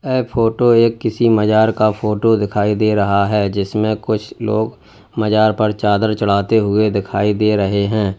ए photo एक किसी मजार का फोटो दिखाई दे रहा है जिसमें कुछ लोग मजार पर चादर चढ़ाते हुए दिखाई दे रहे हैं।